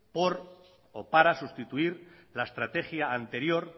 por o para sustituir la estrategia anterior